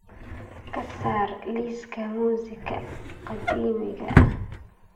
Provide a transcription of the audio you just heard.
ka saar liiska muusiga qadiimiga ah